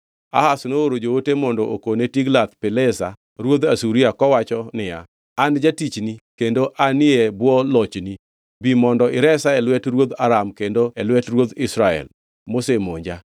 Ahaz nooro joote mondo okone Tiglath-Pilesa ruodh Asuria kowacho niya, “An jatichni kendo anie e bwo lochni. Bi mondo iresa e lwet ruodh Aram kendo e lwet ruodh Israel mosemonja.”